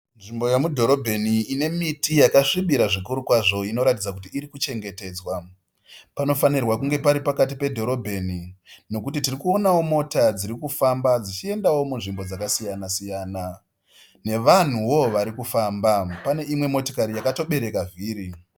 Nzvimbo yomudhorobheni ine miti yakasvibira zvikuru kwazvo inoratidza kuti iri kuchengetedzwa. Panofanirwa kunge pari pakati pedhorobheni nokuti tiri kuonawo mota dziri kufamba dzichiendawo munzvimbo dzakasiyanasiyana navanhuvo vari kufamba. Pane imwe motokari yakatobereka vhiri.